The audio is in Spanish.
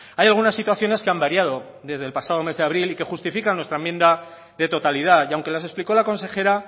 hay algunas situaciones que han variado desde el pasado mes de abril y que justifican nuestra enmienda de totalidad y aunque las explicó la consejera